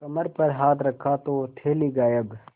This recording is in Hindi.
कमर पर हाथ रखा तो थैली गायब